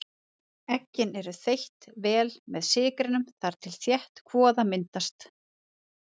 Eggin eru þeytt vel með sykrinum þar til þétt kvoða myndast.